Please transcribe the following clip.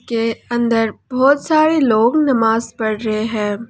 के अंदर बहुत सारे लोग नमाज पढ़ रहे हैं।